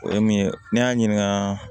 O ye min ye ne y'a ɲininka